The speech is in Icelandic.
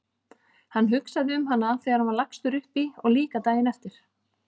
Hann hugsaði um hana þegar hann var lagstur upp í og líka daginn eftir.